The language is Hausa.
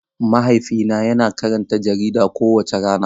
Mahaifina yana karanta jarida kowace rana.